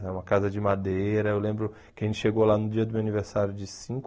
É uma casa de madeira, eu lembro que a gente chegou lá no dia do meu aniversário de cinco